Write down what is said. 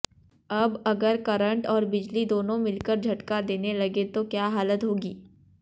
अब अगर करंट और बिजली दोनों मिलकर झटका देने लगें तो क्या हालत होगी